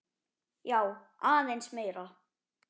Já, aðeins meira.